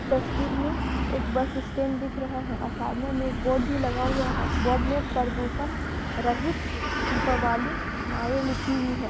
तस्वीर में एक बस स्टैंड दिख रहा है और सामने मे एक बोर्ड भी लगा है बोर्ड मे परदूषण रहित दीपावली माई लिखी हुई है।